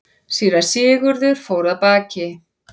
Síra Sigurður fór af baki.